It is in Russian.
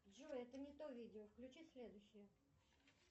джой это не то видео включи следующее